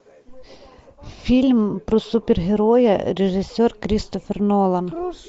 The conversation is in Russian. фильм про супергероя режиссер кристофер нолан